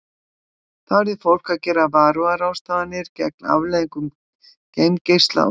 Þá yrði fólk að gera varúðarráðstafanir gegn afleiðingum geimgeisla og þyngdarleysis.